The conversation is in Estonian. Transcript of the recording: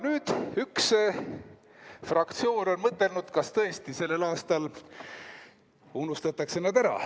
Nüüd üks fraktsioon on mõtelnud, kas tõesti sellel aastal unustatakse nad ära.